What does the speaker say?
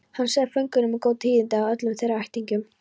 Hann sagði föngunum góð tíðindi af öllum þeirra ættingjum.